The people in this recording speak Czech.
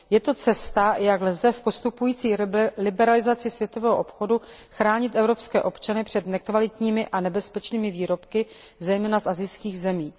Je to cesta, jak lze v postupující liberalizaci světového obchodu chránit evropské občany před nekvalitními a nebezpečnými výrobky, zejména z asijských zemí.